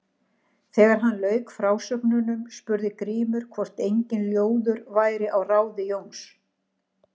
Þegar hann lauk frásögnunum spurði Grímur hvort enginn ljóður væri á ráði Jóns.